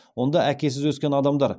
онда әкесіз өскен адамдар